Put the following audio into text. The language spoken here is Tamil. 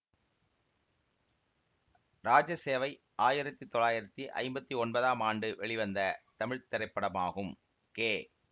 ராஜசேவை ஆயிரத்தி தொள்ளாயிரத்தி ஐம்பத்தி ஒன்பதாம் ஆண்டு வெளிவந்த தமிழ் திரைப்படமாகும் கே